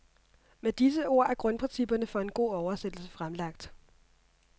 Med disse ord er grundprincipperne for en god oversættelse fremlagt.